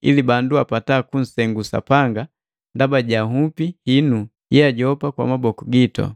ili bandu apata kunsengu Sapanga ndaba ja nhupi hinu yeajopa kwa maboku gitu.